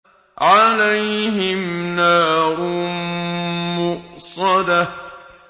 عَلَيْهِمْ نَارٌ مُّؤْصَدَةٌ